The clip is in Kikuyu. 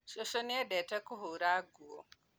Cucu nĩendete kũhura nguo